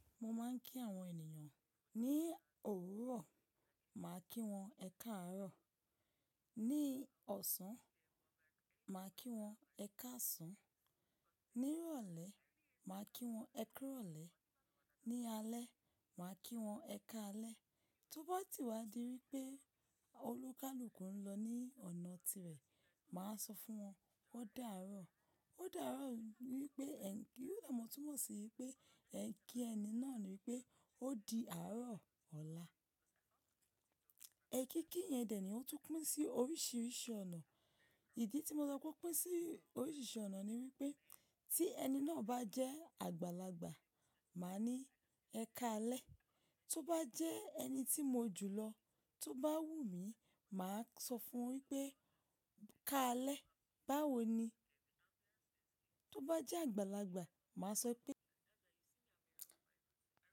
Mo máa ń kí àwọn ènìyàn ní òwúrọ̀, màá kí wọn "ẹ káàárọ̀", ní ọ̀sán, màá kí wọn "ẹ káàsán", ní ìrọ̀lẹ́, màá kí wọn "ẹ kú ìrọ̀lẹ́", ní alẹ́, màá kí wọn "ẹ ká alẹ́". Tóbá ti wá di wípé olúkúlùkù ń lọ ní ọ̀nà tirẹ̀, màá sọ fún wọn "ó dáàárọ̀". Ó dáàárọ̀ wípé ẹ̀ ń kí, ẹ̀mọ̀túnmọ̀ sí wípé ẹ̀ ń kí ẹni náà wípé ó di àárọ̀ ọ̀la. Èkiki yẹn dẹ̀ ni ó tún pín sí oríṣiríṣi ọ̀nà. Ìdí tí mo sọ pé ó pín sí oríṣiríṣi ọ̀nà ni wípé tí ẹni náà bá jẹ́ àgbàlagbà, màá ní "ẹ ká alẹ́", tó bá jẹ́ ẹni tí mo jù lọ, tó bá wù mí, màá sọ fún wípé "ká alẹ́", báwo ni? Tó bá jẹ́ àgbàlagbà, màá sọ pé.